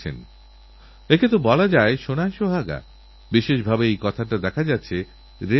গীতাতে যে কর্তব্যের কথা বলা হয়েছেতার সাক্ষাৎ রূপ যেন আমি তাঁদের মধ্যে দেখতে পাচ্ছিলাম